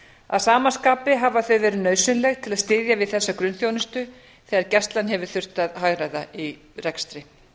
að sama skapi hafa þau verið nauðsynleg til að styðja við þessa grunnþjónustu sem gæslan hefur þurft að hagræða í rekstri